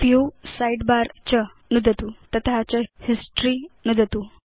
view sidebar च नुदतु तत च हिस्टोरी नुदतु